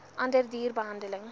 ander duur behandeling